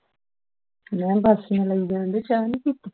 ਮੈਂ ਕਿਹਾ ਵਾਸੀਆਂ ਲਈ ਜਾਂਦੇ ਹੈ ਚਾ ਨਹੀਂ ਪੀਤੀ